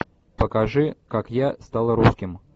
покажи как я стал русским